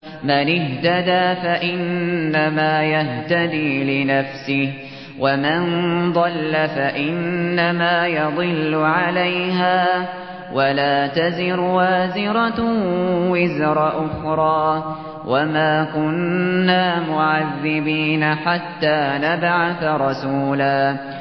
مَّنِ اهْتَدَىٰ فَإِنَّمَا يَهْتَدِي لِنَفْسِهِ ۖ وَمَن ضَلَّ فَإِنَّمَا يَضِلُّ عَلَيْهَا ۚ وَلَا تَزِرُ وَازِرَةٌ وِزْرَ أُخْرَىٰ ۗ وَمَا كُنَّا مُعَذِّبِينَ حَتَّىٰ نَبْعَثَ رَسُولًا